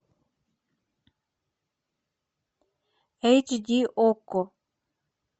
эйч ди окко